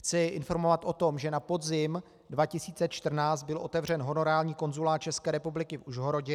Chci informovat o tom, že na podzim 2014 byl otevřen honorární konzulát České republiky v Užhorodě.